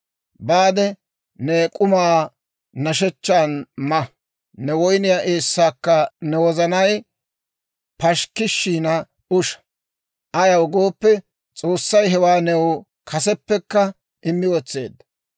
Baade, ne k'umaa nashshechchan ma; ne woyniyaa eessaakka ne wozanay pashikkishina usha. Ayaw gooppe, S'oossay hewaa new kaseppekka immi wotseedda.